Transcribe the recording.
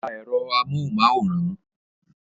Pa èrò amóhunmáwòrán!